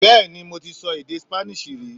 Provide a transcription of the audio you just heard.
Bẹ́ẹ̀ni mo ti so èdè Spanish rí